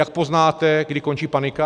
Jak poznáte, kdy končí panika?